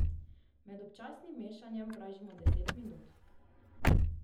Med občasnim mešanjem pražimo deset minut.